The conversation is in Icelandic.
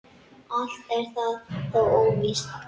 Allt er það þó óvíst.